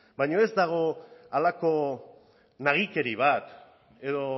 baino ez dago halako nagikeri bat edo